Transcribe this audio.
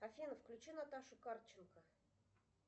афина включи наташу карченко